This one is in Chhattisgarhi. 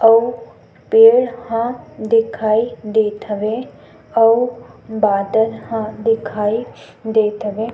अउ पेड़ ह दिखाई देत हवे अउ बादल ह दिखाई देत हवे।